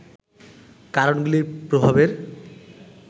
কারণগুলির প্রভাবের